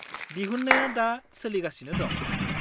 दिहुन्नाया दा सोलिगासिनो दं।